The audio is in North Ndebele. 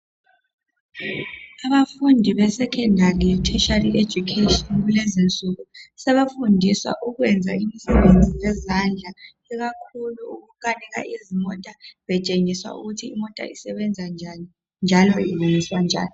Abafundi besekhondari letheshiyari ejukheshini kulezinsuku, sebefundiswa ukwenza imisebenzi yezandla ikakhulu ukukanika izimota betshengisa ukuthi imota isebenza njani njalo ilungiswa njani.